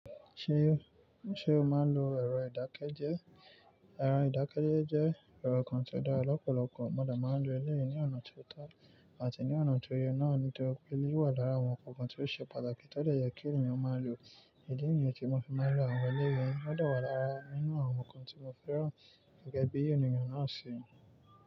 Ṣé, ṣe o máa ń lo ẹ̀rọ ìdákẹ́jẹ́? Ẹ̀rọ ìdákẹ́jẹ́ jẹ́ ẹ̀rọ kan tí ó dára lọ́pọ̀lọpọ̀. Mọ̀ de máa ń lo éleyìí ní ọ̀nà tó tà àti ní ọ̀nà tó yẹ náà nítorí pé lé wà lára àwọn ǹkan kan tí ó ṣe pàtàkì tó dè yẹ kí ènìyàn máa lò. Ìdí nìyen tí mo fi máa ń lo àwọn eleyi, ó dà wà lára nínú àwọn nnkan tí mo fẹ́ràn gẹ́gẹ́ bí ènìyàn náà ṣe.